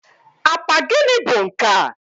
apa gịnị bụ nkea?